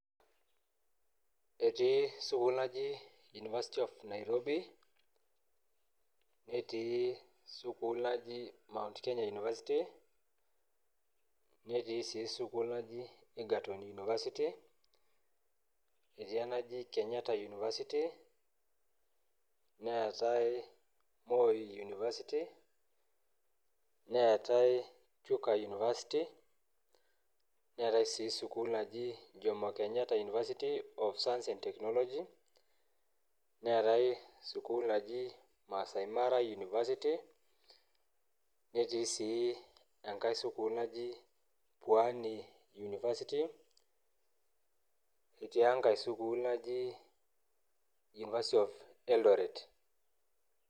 Etii school naji university of Nairobi netii School naji Mount Kenya University nejii sii school naji Egerton university netii enaji Kenyatta university neetai Moi university neetai chuka university neetai sii school naji jomo Kenyatta university of agriculture and technology neetai school naji maasai mara university netee sii enkai school naji pwani university netii enkai school naji university of eldoret .